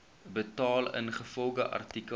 betaal ingevolge artikel